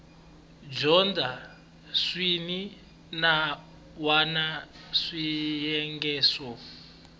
dyondza swin wana swiyenge swo